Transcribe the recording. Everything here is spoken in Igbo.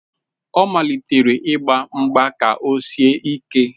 Ọ malitere ịgba mgba ka o sie ike.